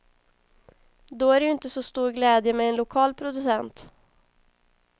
Då är det ju inte så stor glädje med en lokal producent.